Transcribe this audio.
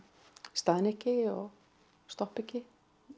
staðni ekki og stoppi ekki